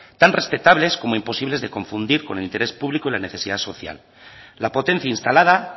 tan respetables como imposibles de confundir con el interés público en la necesidad social la potencia instalada